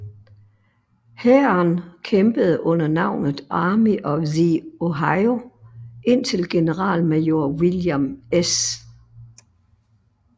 Hæren kæmpede under navnet Army of the Ohio indtil generalmajor William S